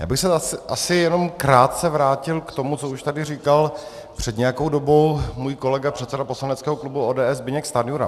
Já bych se asi jenom krátce vrátil k tomu, co už tady říkal před nějakou dobou můj kolega, předseda poslaneckého klubu ODS Zbyněk Stanjura.